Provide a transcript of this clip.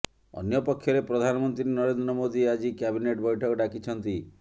ଅନ୍ୟ ପକ୍ଷରେ ପ୍ରଧାନମନ୍ତ୍ରୀ ନରେନ୍ଦ୍ର ମୋଦୀ ଆଜି କ୍ୟାବିନେଟ ବୈଠକ ଡାକିଛନ୍ତି